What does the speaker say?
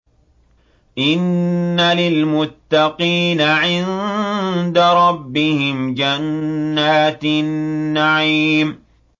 إِنَّ لِلْمُتَّقِينَ عِندَ رَبِّهِمْ جَنَّاتِ النَّعِيمِ